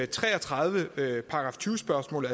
tre og tredive § tyve spørgsmål